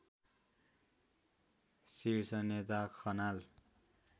शीर्षनेता Khanal